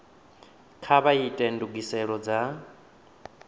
kha vha ite ndugiselo dza